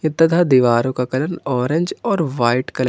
तथा दीवारों का कलर ऑरेंज और व्हाइट कलर --